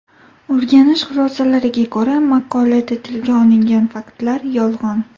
O‘rganish xulosalariga ko‘ra, maqolada tilga olingan faktlar yolg‘on.